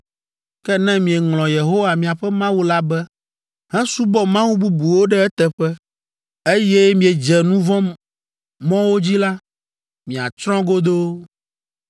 Ke ne mieŋlɔ Yehowa, miaƒe Mawu la be, hesubɔ mawu bubuwo ɖe eteƒe, eye miedze nu vɔ̃ mɔwo dzi la, miatsrɔ̃ godoo,